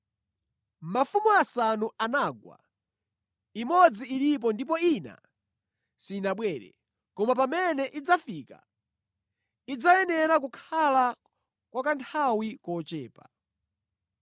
Mafumu asanu anagwa, imodzi ilipo ndipo ina sinabwere; koma pamene idzafika, idzayenera kukhala kwa kanthawi kochepa.